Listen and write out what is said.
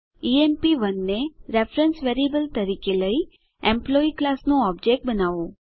ઇએમપી1 ને reference variable તરીકે લઇ એમ્પ્લોયી ક્લાસ નું ઓબજેક્ટ બનાવો